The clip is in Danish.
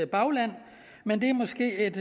bagland men det er måske et